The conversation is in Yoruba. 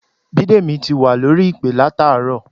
Bídèmí ti wà lórí ìpè látàárọ̀